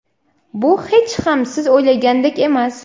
Bu hech ham siz o‘ylagandek emas.